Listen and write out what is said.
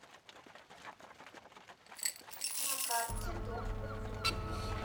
на карте дом культур